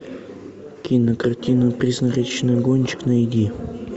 кинокартина призрачный гонщик найди